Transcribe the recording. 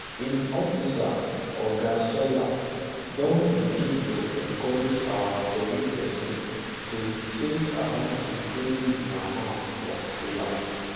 im office oga sawyer don begin to encourage our tori pesin to tink about increasing di amount of filler